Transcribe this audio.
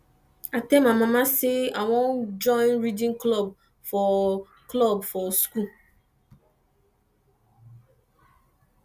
i tell my mama say i wan join reading club for club for school